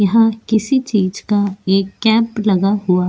यहां किसी चीज का एक कैंप लगा हुआ ।